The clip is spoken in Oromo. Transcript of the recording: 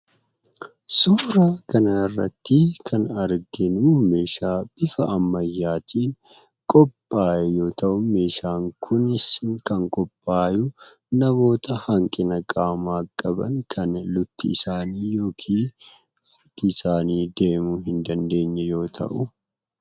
Suuraa kana irratti kan nu arginu, meeshaa bifa ammayyaatiin qophaa'e yoo ta'u , meeshaan kunis kan qophaa'e namoota hanqina qaamaa qaban kan lukti isaanii yookiin miilli isaanii deemuu hin dandeenye yoo ta'u.